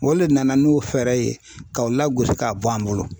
O le nana n'o fɛɛrɛ ye ka o lagosi k'a bɔ an bolo.